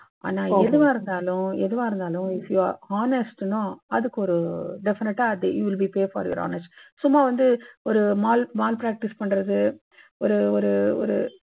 ஆனா, எதுவா இருந்தாலும் honest னா அதுக்கு ஒரு definitely you will be pay for your honesty சும்மா வந்து ஒரு maal practice பண்றது ஒரு ஒரு